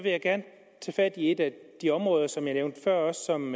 jeg gerne tage fat i et af de områder som jeg også nævnte før og som